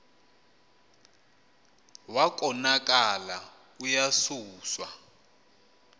wa konakala uyasuswa